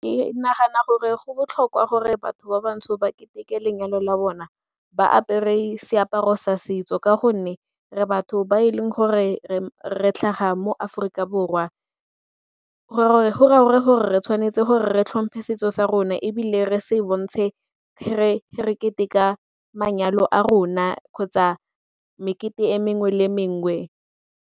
Ke nagana gore go botlhokwa gore batho ba batsho ba ketekete lenyalo la bona ba apere seaparo sa setso ka gonne re batho ba e leng gore re tlhaga mo Aforika Borwa, go raya gore re tshwanetse gore re tlhomphe setso sa rona ebile re se bontshe gore re keteka manyalo a rona kgotsa mekete e mengwe le mengwe.